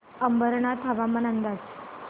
अंबरनाथ हवामान अंदाज